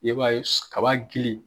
I b'a ye su kaba girin.